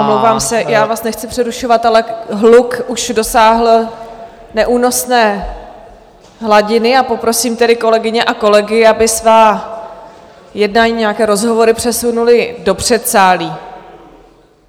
Omlouvám se, já vás nechci přerušovat, ale hluk už dosáhl neúnosné hladiny, a poprosím tedy kolegyně a kolegy, aby svá jednání, nějaké rozhovory přesunuli do předsálí.